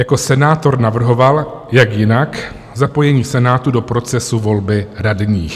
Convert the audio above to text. Jako senátor navrhoval - jak jinak - zapojení Senátu do procesu volby radních.